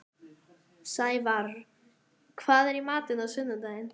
Snævarr, hvað er í matinn á sunnudaginn?